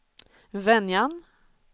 Venjan